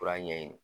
Kura ɲɛ